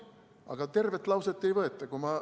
Aga tervet lauset ei võeta välja.